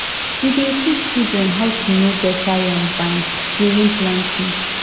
we dey teach children how to know better yam vine during planting